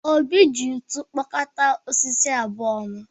Obi ji ntu kụkọọ osisi abụọ ọnụ.